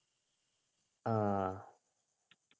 ആഹ്